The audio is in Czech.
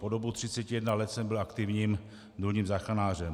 Po dobu 31 let jsem byl aktivním důlním záchranářem.